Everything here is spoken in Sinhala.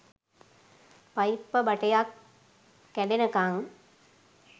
පයිප්ප බටයක් කැඩෙනකන්